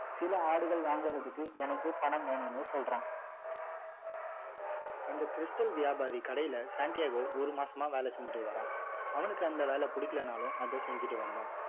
சில ஆடுகள் வாங்குறதுக்கு எனக்கு பணம் வேணும்னு சொல்றான் அந்த stal வியாபாரி கடையில சண்டியாகோ ஒரு மாசமா வேலை செஞ்சிட்டு வரான் அவனுக்கு அந்த வேலை பிடிக்கலன்னாலும் அதை செஞ்சிட்டு வந்தான்